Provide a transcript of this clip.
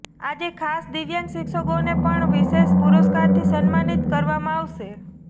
આજે ખાસ દિવ્યાંગ શિક્ષકોને પણ વિશેષ પુરસ્કારથી સન્માનિત કરવામા આવશે